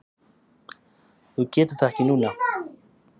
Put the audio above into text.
Þú getur það ekki núna?